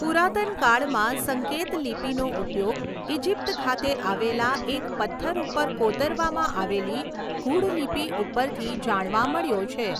પૂરાતન કાળમાં સંકેતલિપીનો ઉપયોગ ઇજિપ્ત ખાતે આવેલા એક પત્થર ઉપર કોતરવામાં આવેલી ગૂઢ લિપી ઉપરથી જાણવા મળ્યો છે